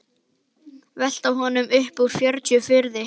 Velta honum upp úr tjöru og fiðri!